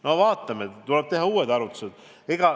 No vaatame, tuleb teha uued arvutused.